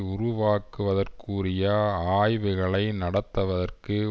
உருவாக்குவதற்குரிய ஆய்வுகளை நடத்துவதற்கு